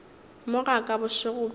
mo ga ka bošego bjo